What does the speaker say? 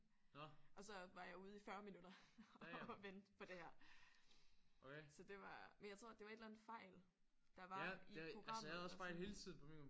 Og så var jeg ude i 40 minutter og vente på det her så det var men jeg tror det var et eller andet fejl der var i programmet altså